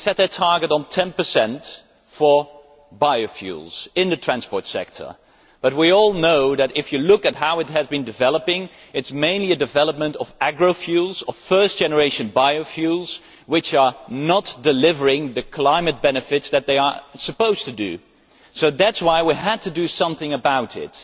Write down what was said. We set a target of 10 for biofuels in the transport sector, but we all know that, if you look at how it has been developing, it mainly concerns the development of agri fuels, of first generation biofuels, which are not delivering the climate benefits that they are supposed to do. That is why we had to do something about it.